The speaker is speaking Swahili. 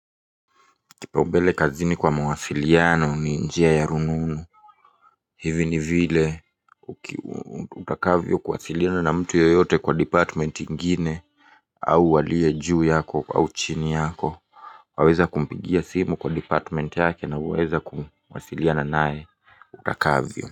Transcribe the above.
Kipaumbele kazini kwa mawasiliano ni njia ya rununu. Hivi ni vile utakavyokuwasiliana na mtu yoyote kwa department ingine au walie juu yako au chini yako. Waweza kumpigia simu kwa department yake na uweza kuwasiliana naye utakavyo.